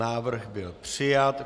Návrh byl přijat.